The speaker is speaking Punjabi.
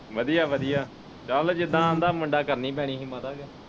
ਵਧੀਆ ਵਧੀਆ ਚਲ ਜਿਦਾ ਆਂਦਾ ਹੀ ਮੁੰਡਾ ਕਰਨੀ ਪੈਣੀ ਹੀ ਮਾਤਾ ਫਿਰ।